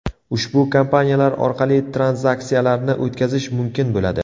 Ushbu kompaniyalar orqali tranzaksiyalarni o‘tkazish mumkin bo‘ladi.